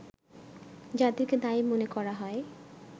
যাদেরকে দায়ী মনে করা হয়